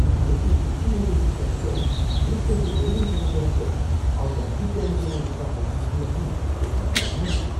நாளைக்கு புது ஏஜென்ஸிகாரங்க நியூஸ்பேப்பர் டெலிவெரி பண்ணப் போறாங்க, அவங்க நம்பிக்கையானவங்களா இருப்பாங்களா இல்லையானு கொஞ்சம் பயமா இருக்கு.